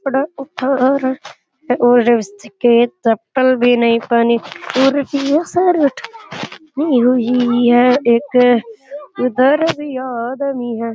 है और इसके चप्पल भी नही पहनी और बुरशट भी लगी हुई है और एक उधर भी आदमी है।